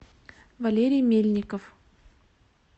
валерий мельников